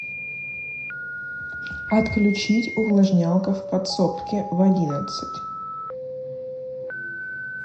отключить увлажнялка в подсобке в одиннадцать